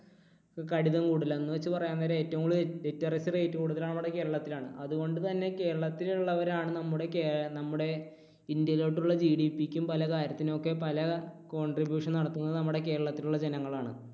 കൂടുതൽ. എന്നുവെച്ച് പറയാൻ നേരം ഏറ്റവും കൂടുതൽ literacy rate കൂടുതൽ നമ്മുടെ കേരളത്തിലാണ്. അതുകൊണ്ടുതന്നെ കേരളത്തിൽ ഉള്ളവരാണ് നമ്മുടെ കേ നമ്മുടെ ഇന്ത്യയിലോട്ടുള്ള GDP ക്കും പലകാര്യത്തിനും ഒക്കെ പല contribution നടത്തുന്നത് നമ്മുടെ കേരളത്തിൽ ഉള്ള ജനങ്ങൾ ആണ്.